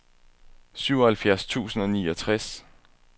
syvoghalvfjerds tusind og niogtres